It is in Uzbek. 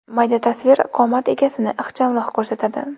Mayda tasvir qomat egasini ixchamroq ko‘rsatadi.